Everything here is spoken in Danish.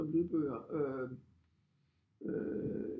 Som lydbøger øh